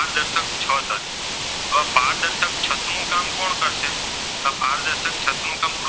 છતનું કામ,